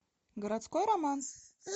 городской романс